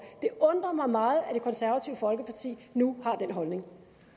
det undrer mig meget at det konservative folkeparti nu har den holdning